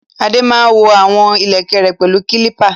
Adé máa ń wọ̀n àwọn ìlẹ̀kẹ̀ rẹ̀ pẹ̀lú kálípà